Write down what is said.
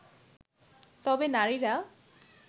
তবে নারীরা